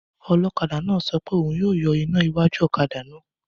Ọlọ́kadà náà sọ pé òun yóò pa iná iwájú ọ̀kadà náà